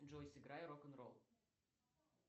джой сыграй рок н ролл